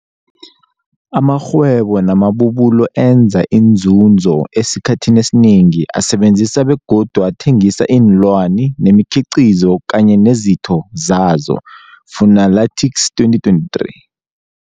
Amarhwebo namabubulo enza inzunzo esikhathini esinengi asebenzisa begodu athengisa iinlwani nemikhiqizo kanye nezitho zazo, Fuanalytics 2023.